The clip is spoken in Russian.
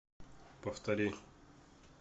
повтори